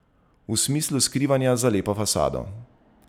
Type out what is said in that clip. V smislu skrivanja za lepo fasado.